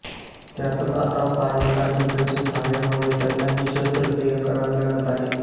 त्यातच आता पायाला इन्फेक्शन झाल्यामुळे त्यांना ही शस्त्रक्रिया करावी लागत आहे